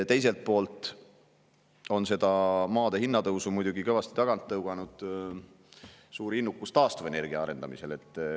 Teiselt poolt on muidugi maade hinna tõusu kõvasti tagant tõuganud suur innukus taastuvenergia arendamisel.